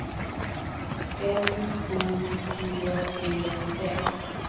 M O G E N